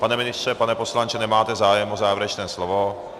Pane ministře, pane poslanče, nemáte zájem o závěrečné slovo?